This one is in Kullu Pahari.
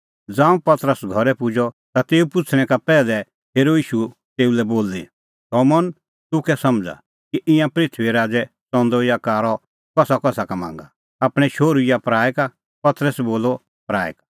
ज़ांऊं पतरस घरै पुजअ ता तेऊए पुछ़णै का पैहलै हेरअ ईशू तेऊ लै बोली शमौन तूह कै समझ़ा कि ईंयां पृथूईए राज़ै च़ंदअ या कारअ कसाकसा का मांगा आपणैं शोहरू या पराऐ का पतरसै बोलअ पराऐ का